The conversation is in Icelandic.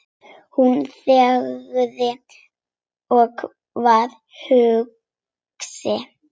Hún þagði og var hugsi.